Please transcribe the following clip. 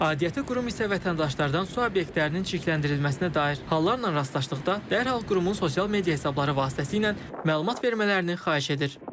Aidiyyəti qurum isə vətəndaşlardan su obyektlərinin çirkləndirilməsinə dair hallarla rastlaşdıqda dərhal qurumun sosial media hesabları vasitəsilə məlumat vermələrini xahiş edir.